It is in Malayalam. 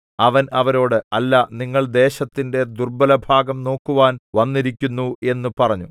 അവൻ അവരോട് അല്ല നിങ്ങൾ ദേശത്തിന്റെ ദുർബ്ബലഭാഗം നോക്കുവാൻ വന്നിരിക്കുന്നു എന്നു പറഞ്ഞു